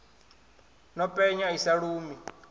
no penya i sa lumi